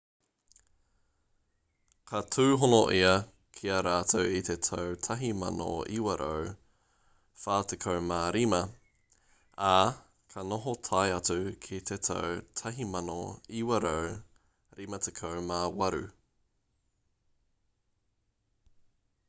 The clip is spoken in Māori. ka tūhono ia ki a rātou i te tau 1945 ā ka noho tae atu ki te tau 1958